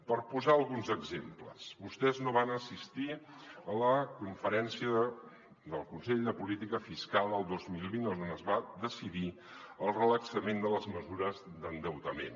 per posar·ne alguns exemples vostès no van assistir a la conferència del consell de política fiscal el dos mil vint on es va decidir el relaxament de les mesures d’endeuta·ment